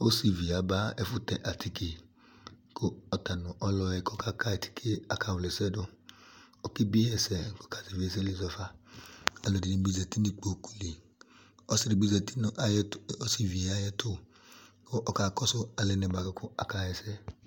Osivi yɛ aba ɛfʋ tɛ atike kʋ atanʋ ɔlʋɛ yɛ k'ɔkaka yi atike yɛ aka wla asɛ dʋ , ɔkebie yi ɛsɛ k'ɔka zɛvi ɛsɛ ayili zɔfaAlʋ ɛdini bi zati n'ikpoku li Ɔsi di bi zati n'ayɛtʋ nʋ osivi yɛ ayɛtʋ kʋ aka kɔsu alɛna yɛ bua kʋ aka hɛsɛ